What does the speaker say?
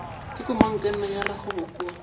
wa komangkanna ya rakgwebo kua